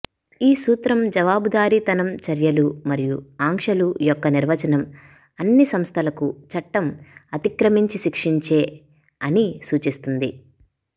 ఈ సూత్రం జవాబుదారీతనం చర్యలు మరియు ఆంక్షలు యొక్క నిర్వచనం అన్ని సంస్థలకు చట్టం అతిక్రమించి శిక్షించే అని సూచిస్తుంది